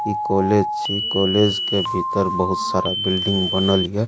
इ कॉलेज छी कॉलेज के भीतर बहुत सारा बिल्डिंग बनल या।